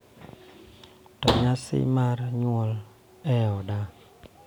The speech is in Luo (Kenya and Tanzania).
To nyasi mar nyuol e oda